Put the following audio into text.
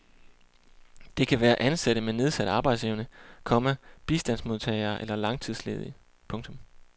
Det kan være ansatte med nedsat arbejdsevne, komma bistandsmodtagere eller langtidsledige. punktum